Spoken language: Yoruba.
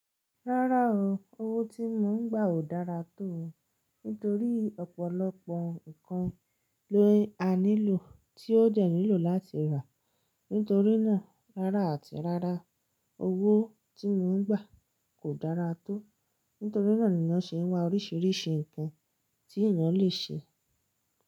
Rárá o, owó tí mò ń gbà ò dára tó, nítorí ọ̀pọ̀lọpọ̀ nǹkan ló a nílò tí ó dẹ̀ nílò láti rà. Nítorí náà, rárá àti rárá, owó tí mò ń gbà kò dára tó, nítorí náà ni wọ́n ṣe ń wá oríṣiríṣi nǹkan tí ìyàn lè ṣe.